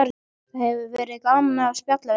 Það hefur verið gaman að spjalla við þig